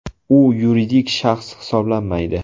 U yuridik shaxs hisoblanmaydi.